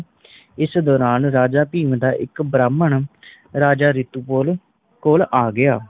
ਇਸ ਦੌਰਾਨ ਰਾਜਾ ਭੀਮ ਦਾ ਇੱਕ ਬ੍ਰਾਹਮਣ ਰਾਜਾ ਰਿਤੂਪੁਰਣ ਕੋਲ਼ ਆ ਗਿਆ